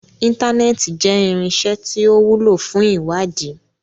Intanẹẹti jẹ irinṣẹ ti o wulo fun iwadii